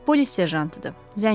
Polis serjantıdır, zəncidir.